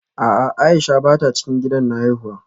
A'a Aisha bata cikin gidan na haifuwa